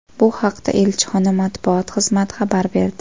Bu haqda elchixona matbuot xizmati xabar berdi .